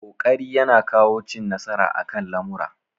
Ƙoƙari ya na kawo cin nasara akan lamura